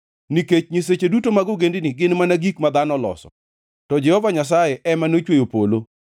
Nikech nyiseche duto mag ogendini gin mana gik ma dhano oloso to Jehova Nyasaye ema nochweyo polo.